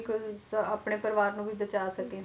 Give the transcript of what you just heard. ਆਪਣੇ ਪਰਿਵਾਰ ਨੂੰ ਵੀ ਬਚਾ ਸਕੀਏ